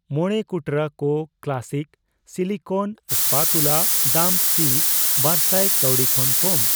ᱢᱚᱲᱮ ᱠᱩᱴᱨᱟᱹ ᱠᱚ ᱠᱞᱟᱥᱥᱤᱠ ᱥᱤᱞᱤᱠᱳᱱ ᱥᱯᱟᱛᱩᱞᱟ ᱫᱟᱢ ᱠᱤ ᱵᱟᱨᱥᱟᱭ ᱠᱟᱣᱰᱤ ᱠᱷᱚᱱ ᱠᱚᱢ ?